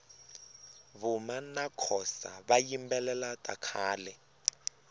vuma nakhosa vayimbelela takhale